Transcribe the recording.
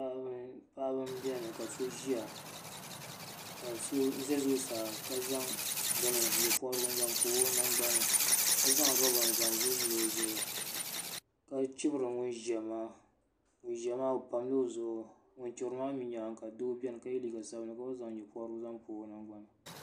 Paɣaba m biɛni ka so ʒia ka so za zuɣusaa ka zaŋ nyɛpobrigu n zaŋ pobi o nangbani ka zaŋ loba n zaŋ vilivili o ka chibri ŋun ʒia maa ŋun ʒia maa o pam la o zuɣu ŋun chibri maa mew nyaanga ka doo biɛni ka ye liiga sabinli ka gba zaŋ nyɛpobrigu zaŋ pobi o nangbani.